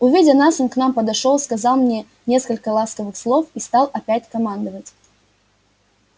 увидя нас он к нам подошёл сказал мне несколько ласковых слов и стал опять командовать